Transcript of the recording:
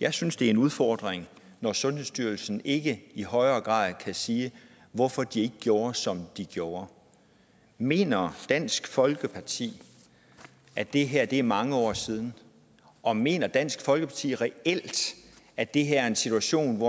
jeg synes det er en udfordring når sundhedsstyrelsen ikke i højere grad kan sige hvorfor de gjorde som de gjorde mener dansk folkeparti at det her er mange år siden og mener dansk folkeparti reelt at det her er en situation hvor